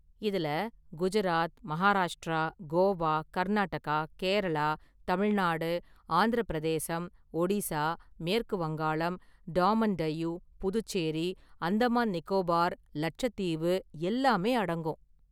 இதுல குஜராத், மகாராஷ்ட்ரா, கோவா, கர்நாடகா, கேரளா, தமிழ்நாடு, ஆந்திர​ பிரதேசம், ஒடிசா, மேற்கு வங்காளம், டாமன் டையூ, புதுச்சேரி, அந்தமான்நிக்கோபார், லச்சத்தீவு எல்லாமே அடங்கும்.